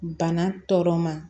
Bana tɔ ma